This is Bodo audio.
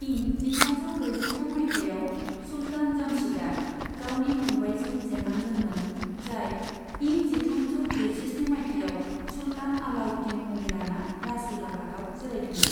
इं जिथामजौ ब्रैजिथाम मायथाइयाव, सुल्तान जमशीदआ गावनि फंबाइजों जेननांदोंमोन, जाय इं जिथामजौ ब्रैजिस्नि मायथाइयाव सुल्तान अलाउद्दीन मुं लाना राजउलाफातआव जिरायदोंमोन।